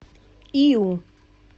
иу